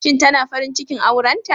Shin tana farin cikin aurenta?